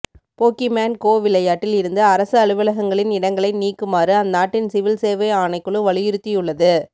Pokemon go விளையாட்டில் இருந்து அரசு அலுவலகங்களின் இடங்களை நீக்குமாறு அந்நாட்டின் சிவில் சேவை ஆணைக்குழு வலியுறுத்தியுள்ளது